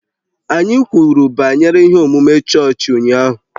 Anyị kwuru banyere ihe omume chọọchị ụnyaahụ